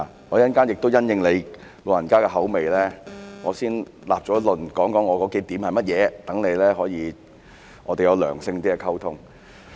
我稍後亦會因應你的口味，先立論，說出我的數個論點是甚麼，讓我們有較良性的溝通。